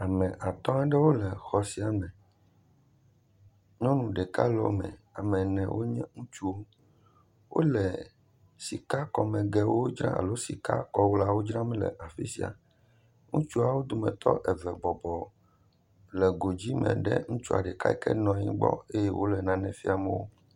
Ame atɔ̃ aɖewo le xɔ sia me, nyɔnu ɖeka le wo me, ame ene wonye ŋutsuwo, wole, wole sikakɔmegewo dzram le afi sia, ŋutsuawo dometɔ eve bɔbɔ le godzi me ɖe ŋutsua ɖeka yi ke nɔ anyi gbɔ eye wòle nu fiam wo.